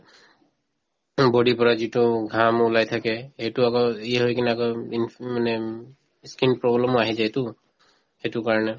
body ৰ পৰা যিটো ঘাম ওলাই থাকে সেইটো আকৌ হৈ কিনে আকৌ উম ইনফ মানে উম skin problem ও অহি যায়তো সেইটো কাৰণে